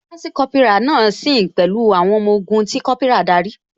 Lansi Kópírà náà ṣe sìn pẹ̀lú àwọn ọmọ ogun tí Kópírà darí